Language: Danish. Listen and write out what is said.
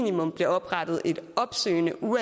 nu